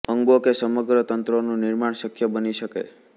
અંગો કે સમગ્ર તંત્રોનું નિર્માણ શક્ય બની શકે